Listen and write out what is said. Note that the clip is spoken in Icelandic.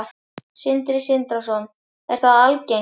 Sindri Sindrason: Er það algengt?